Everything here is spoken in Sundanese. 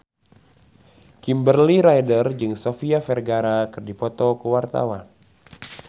Kimberly Ryder jeung Sofia Vergara keur dipoto ku wartawan